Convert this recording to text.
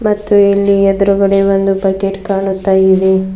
ಮತ್ತು ಇಲ್ಲಿ ಎದ್ರುಗಡೆ ಒಂದು ಬಕೆಟ್ ಕಾಣುತ್ತಾ ಇದೆ.